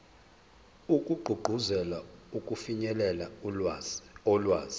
wokugqugquzela ukufinyelela olwazini